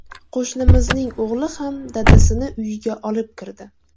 Qo‘shnimizning o‘g‘li ham dadasini uyiga olib kirdi.